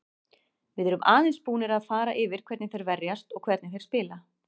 Við erum aðeins búnir að fara yfir hvernig þeir verjast og hvernig þeir spila.